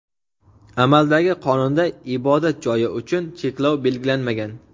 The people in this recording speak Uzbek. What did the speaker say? amaldagi qonunda ibodat joyi uchun cheklov belgilanmagan.